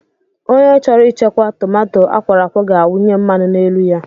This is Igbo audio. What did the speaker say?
Ònye chọrọ ichekwa tomato akworokwo ga awunye mmanụ n'elu ya.